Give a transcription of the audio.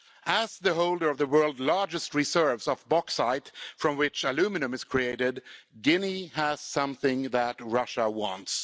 As the holder of the world's largest reserves of bauxite, from which aluminium is created, Guinea has something that Russia wants.